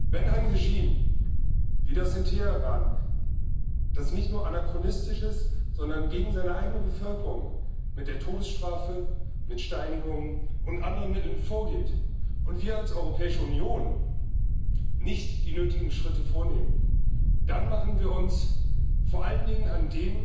Wenn ein Regime, wie das in Teheran, das nicht nur anachronistisch ist, sondern gegen seine eigene Bevölkerung mit der Todessstrafe, mit Steinigungen und anderen Mitteln vorgeht, und wir als Europäische Union nicht die nötigen Schritte unternehmen, dann machen wir uns vor allen Dingen an